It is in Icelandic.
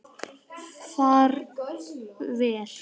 Far vel!